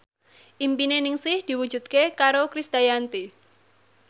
impine Ningsih diwujudke karo Krisdayanti